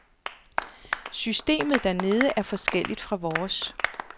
Systemet dernede er forskelligt fra vores.